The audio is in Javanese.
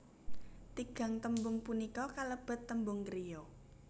Tigang tembung punika kalebet tembung kriya